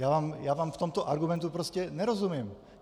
Já vám v tomto argumentu prostě nerozumím.